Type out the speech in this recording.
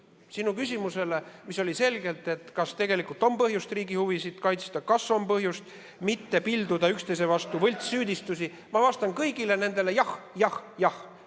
Sinu küsimusele, mis oli selgelt see, kas tegelikult on põhjust riigi huvisid kaitsta, kas on põhjust mitte pilduda üksteise vastu võltssüüdistusi, ma vastan: jah, jah, jah.